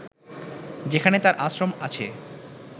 যেখানে তার আশ্রম আছে